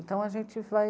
Então a gente vai...